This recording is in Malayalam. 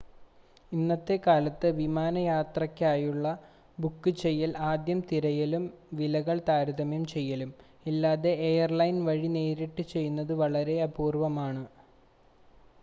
ഇന്നത്തെ കാലത്ത് വിമാന യാത്രകൾക്കായുള്ള ബുക്ക് ചെയ്യൽ ആദ്യം തിരയലും വിലകൾ താരതമ്യം ചെയ്യലും ഇല്ലാതെ എയർലൈൻ വഴി നേരിട്ട് ചെയ്യുന്നത് വളരെ അപൂർവമാണ്